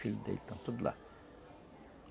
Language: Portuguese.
Filhos dele estão tudo lá.